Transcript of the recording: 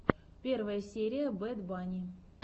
первая серия бэд банни